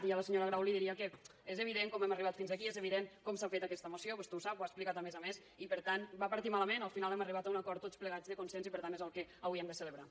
i a la senyora grau li diria que és evident com hem arribat fins aquí és evident com s’ha fet aquesta moció vostè ho sap ho ha explicat a més a més i per tant va partir malament al final hem arribat a un acord tots plegats de consens i per tant és el que avui hem de celebrar